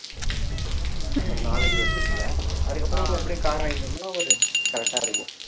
ஒரு நாலஞ்சு வருஷத்துல அதுக்கு அப்பறம் அப்படியே car வாங்கிட்டு வாங்கிட்டோம்ன்னா ஒரு correct ஆ இருக்கும்